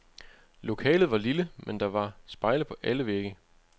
Lokalet var lille, men der var spejle på alle vægge.